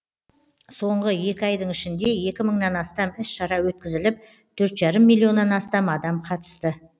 соңғы екі айдың ішінде екі мыңнан астам іс шара өткізіліп төрт жарым миллионнан астам адам қатысты